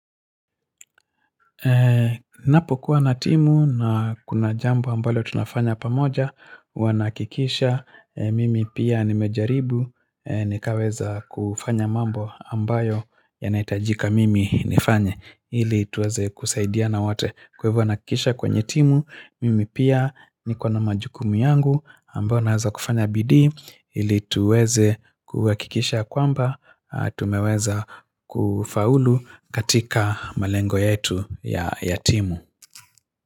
Napo kuwa na timu na kuna jambo ambalo tunafanya pamoja huwa na hakikisha mimi pia nimejaribu nikaweza kufanya mambo ambayo yanaitajika mimi nifanye ili tuweze kusaidiana wote kwa hivyo na hakikisha kwenye timu Mimi pia niko na majukumu yangu ambayo wanaweza kufanya bidii ili tuweze kuhakikisha ya kwamba tumeweza kufaulu katika malengo yetu ya timu.